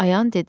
Ayan dedi.